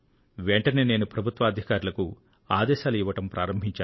వెంటనే నేను ప్రభుత్వాధికారులకు ఆదేశాలు ఇవ్వడం ప్రారంభించాను